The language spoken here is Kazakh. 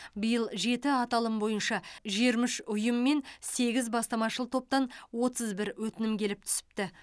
биыл жеті аталым бойынша жиырма үш ұйым мен сегіз бастамашыл топтан отыз бір өтінім келіп түсіпті